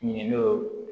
Ɲindo